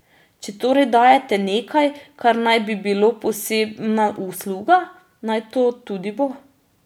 Če torej dajete nekaj, kar naj bi bilo posebna usluga, naj to tudi bo.